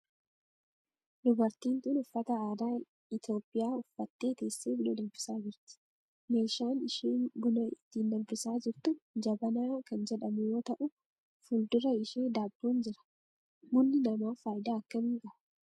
Dubartiin tun uffata aadaa Itiyoophiyaa uffattee teessee buna danfisaa jirti. Meeshaan isheen buna ittiin danfisaa jirtu jabanaa kan jedhamu yoo ta'u fuuldura ishee daabboon jira. Bunni namaaf faayidaa akkamii qaba?